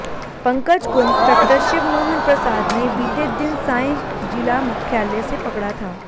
पंकज को इंस्पेक्टर शिवमोहन प्रसाद ने बीते दिन सांय जिला मुख्यालय से पकड़ा था